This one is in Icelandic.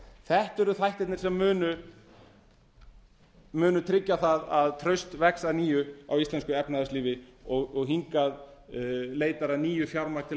þetta eru þættirnir sem munu tryggja það að traust vex að nýju á íslensku efnahagslífi og hingað leitar að nýju fjármagn til